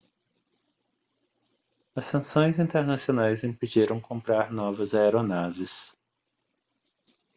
as sanções internacionais impediram comprar novas aeronaves